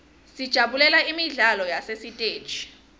sijabulela imidlalo yasesiteji